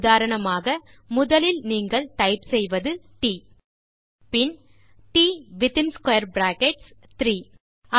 உதாரணமாக முதலில் நீங்கள் டைப் செய்வது ட் பின் ட் வித்தின் ஸ்க்வேர் பிராக்கெட்ஸ் 3